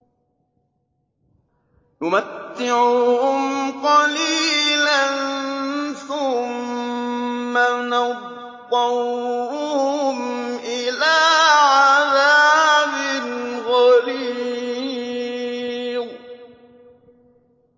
نُمَتِّعُهُمْ قَلِيلًا ثُمَّ نَضْطَرُّهُمْ إِلَىٰ عَذَابٍ غَلِيظٍ